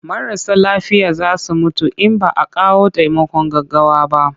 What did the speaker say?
Marasa lafiya za su mutu in ba a kawo taimakon gaggawa ba.